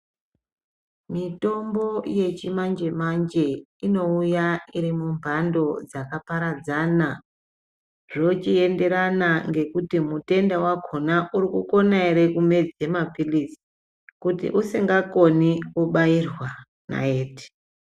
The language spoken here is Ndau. Mitomo yechimanje manje inouya irimumbando dzakaparadzana zvochiyenderana ngekuti mutenda wakhona urikona ere kumedza mapirizi kuti usingakoni wochibairwa naiti.